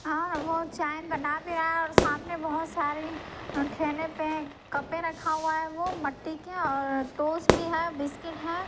और वो चाय बना भी रहा हैऔर सामने बहुत सारे ठेने पे कपे रखा हुआ हैवो मट्टी के और टोस भी हैबिस्किट है।